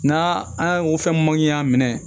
N'a an ko fɛn man ɲi y'a minɛ